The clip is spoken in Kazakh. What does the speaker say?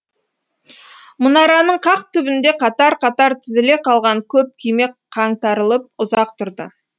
мұнараның қақ түбінде қатар қатар тізіле қалған көп күйме қаңтарылып ұзақ тұрды